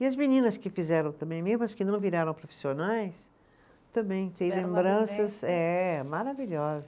E as meninas que fizeram também, mesmo as que não viraram profissionais, também têm lembranças, eh maravilhosas.